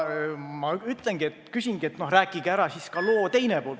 Ma ütlengi, et rääkige ära ka loo teine pool.